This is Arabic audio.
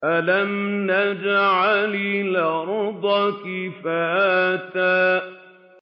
أَلَمْ نَجْعَلِ الْأَرْضَ كِفَاتًا